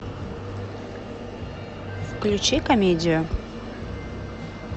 включи комедию